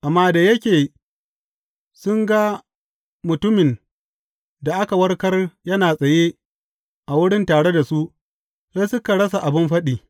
Amma da yake sun ga mutumin da aka warkar yana tsaye a wurin tare da su, sai suka rasa abin faɗi.